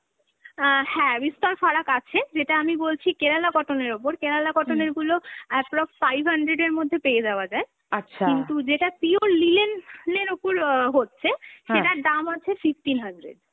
অ্যাঁ হ্যাঁ, বিস্তর ফারাক আছে, যেটা আমি বলছি Kerala cotton এর ওপর, Kerala cotton এর গুলো approx five hundred এর মধ্যে পেয়ে যাওয়া যায়, কিন্তু যেটা pure linen, linen এর ওপর অ্যাঁ হচ্ছে, সেটার দাম আছে fifteen hundred।